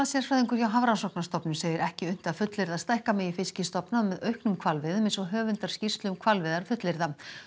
hvalasérfræðingur hjá Hafrannsóknastofnun segir ekki unnt að fullyrða að stækka megi fiskistofna með auknum hvalveiðum eins og höfundar skýrslu um hvalveiðar fullyrða